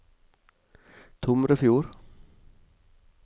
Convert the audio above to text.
Tomrefjord